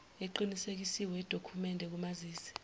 eqinisekisiwe yedokhumende kamazisi